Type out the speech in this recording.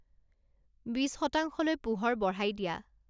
বিশ শতাংশলৈ পোহৰ বঢ়াই দিয়া